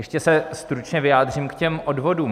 Ještě se stručně vyjádřím k těm odvodům.